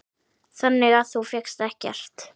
Þannig að þú fékkst ekkert?